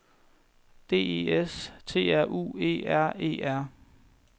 D E S T R U E R E R